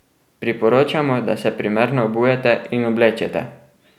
Priporočamo, da se primerno obujete in oblečete!